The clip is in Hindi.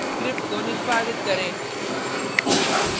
स्क्रिप्ट को निष्पादित करें